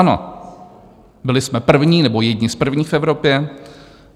Ano, byli jsme první nebo jedni z prvních v Evropě.